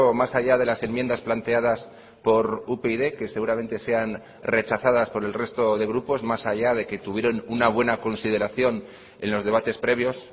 más allá de las enmiendas planteadas por upyd que seguramente sean rechazadas por el resto de grupos más allá de que tuvieron una buena consideración en los debates previos